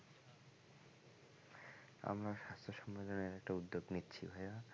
আমরা স্বাস্থ্য সম্মেলনের একটা উদ্যোগ নিচ্ছিল ভায়া।